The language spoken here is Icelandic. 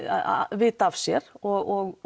vita af sér og